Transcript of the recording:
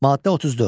Maddə 34.